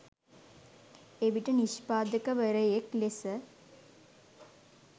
එවිට නිෂ්පාදකවරයෙක් ලෙස